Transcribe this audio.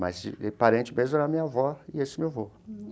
Mas, de de parente mesmo, era minha avó e esse meu avô.